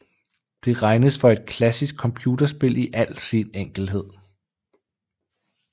Det regnes for et klassisk computerspil i al sin enkelhed